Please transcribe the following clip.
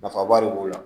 Nafaba de b'o la